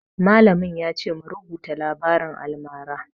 Mallamin ya ce mu rubuta labarin almara